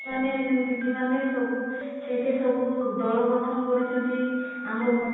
ମାନେ nm ଦିଦି ମାନେ ସବୁ ସେଇଠି ସବୁ ଦଳ ଗଠନ କରିଛନ୍ତି ଆମର